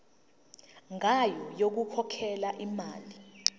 ngayo yokukhokhela imali